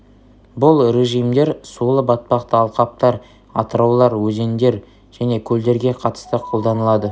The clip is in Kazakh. бұл режимдер сулы-батпақты алқаптар атыраулар өзендер және көлдерге қатысты қолданылады